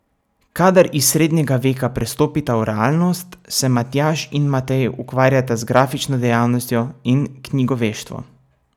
Kadar iz srednjega veka prestopita v realnost, se Matjaž in Matej ukvarjata z grafično dejavnostjo in knjigoveštvom.